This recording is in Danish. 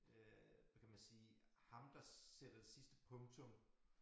Øh hvad kan man sige ham der sætter det sidste punktum